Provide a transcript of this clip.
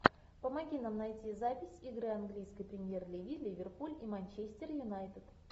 помоги нам найти запись игры английской премьер лиги ливерпуль и манчестер юнайтед